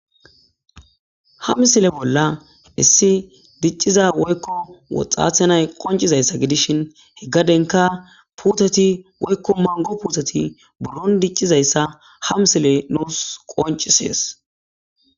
Ha misile bolla issi diciza woykko woxate nazi qonccizayssa gidishin he gaddenkka puuttetti woykko manggo puuttetti buuron dicizayssa ha misiley nuus qonccises